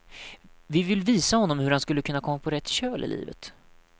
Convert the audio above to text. Vi vill visa honom hur han skulle kunna komma på rätt köl i livet.